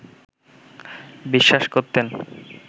বিশ্বাস করতেন